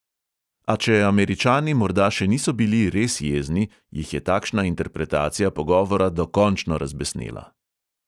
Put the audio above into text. A če američani morda še niso bili res jezni, jih je takšna interpretacija pogovora dokončno razbesnela.